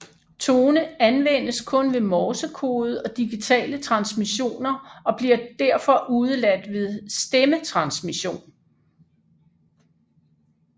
Tone anvendes kun ved morsekode og digitale transmissioner og bliver derfor udeladt ved stemmetransmission